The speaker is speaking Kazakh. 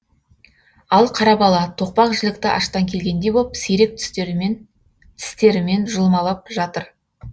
ал қара бала тоқпақ жілікті аштан келгендей боп сирек тістерімен жұлмалап жатыр